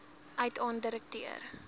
uit aan direkteur